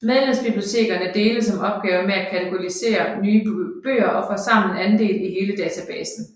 Medlemsbibliotekerne deles om opgaven med at katalogisere nye bøger og får sammen andel i hele databasen